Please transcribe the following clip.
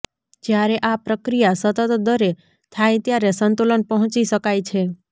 જ્યારે આ પ્રક્રિયા સતત દરે થાય ત્યારે સંતુલન પહોંચી શકાય છે